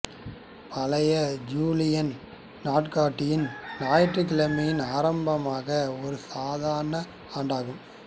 பழைய ஜூலியன் நாட்காட்டியில் ஞாயிற்றுக்கிழமையில் ஆரம்பமான ஒரு சாதாரண ஆண்டாகும்